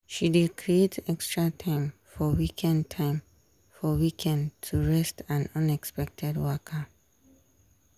she dey creat extra time for weekend time for weekend to rest and unexpected waka.